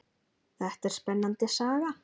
Þetta er spennandi saga.